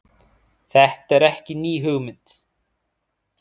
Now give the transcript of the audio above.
Þetta er ekki ný hugmynd